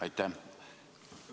Aitäh!